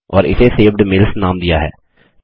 और इसे saved mails नाम दिया है